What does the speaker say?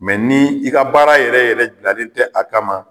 Mɛ ni i ka baara yɛrɛ yɛrɛ bilalen tɛ a kama.